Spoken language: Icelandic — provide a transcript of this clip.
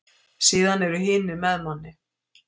Síðan eru hinir með manni.